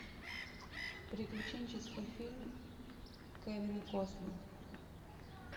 приключенческий фильм кевина костнера